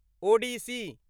Odissi